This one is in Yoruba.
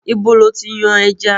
Ibo lo ti yan ẹja?